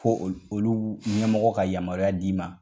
Ko olu ɲɛmɔgɔ ka yamaruya d'i ma.